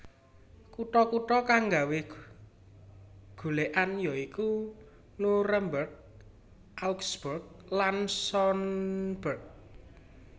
Kutha kutha kang nggawé golèkan ya iku Nuremberg Augsburg lan Sonneberg